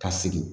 Ka sigi